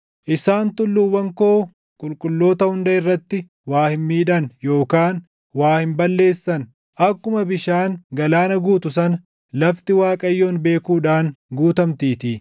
Isaan tulluuwwan koo qulqulloota hunda irratti waa hin miidhan yookaan waa hin balleessan; akkuma bishaan galaana guutu sana lafti Waaqayyoon beekuudhaan guutamtiitii.